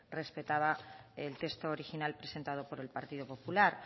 respetaba el texto original presentado por el partido popular